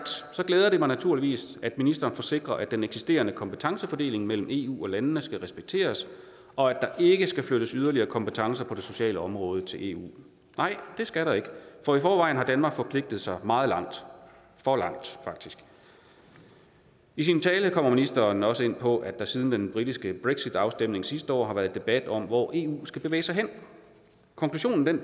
glæder det mig naturligvis at ministeren forsikrer at den eksisterende kompetencefordeling mellem eu og landene skal respekteres og at der ikke skal flyttes yderligere kompetencer på det sociale område til eu nej det skal der ikke for i forvejen har danmark forpligtet sig meget langt for langt faktisk i sin tale kom ministeren også ind på at der siden den britiske brexitafstemning sidste år har været debat om hvor eu skal bevæge sig hen konklusionen af